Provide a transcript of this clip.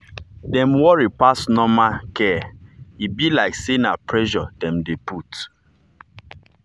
dem worry pass just normal care e be like say na pressure dem dey put.